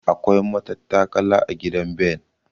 Akwai matattakala a gidan Ben.